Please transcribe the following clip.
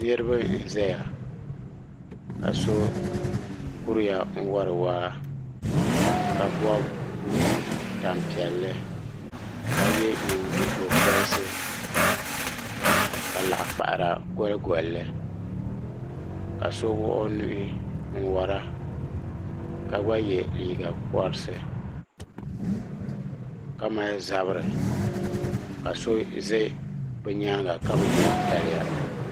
niraba n ʒɛya ka so kuriya n wori waa ka bob tani piɛlli ka yɛ nyingokorisi ka laɣa kpahara goligolli ka so wuɣi o nuhi n wora ka gba yɛ liiga porisi ka mali zabiri ka so bɛ bi nyaanga ka bi yɛ daliya